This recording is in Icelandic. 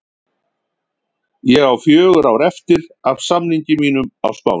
Ég á fjögur ár eftir af samningi mínum á Spáni.